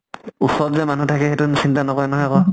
ওচৰত যে মানুহ থাকে সেইটো চিন্তা নকৰে নহয় আকৌ।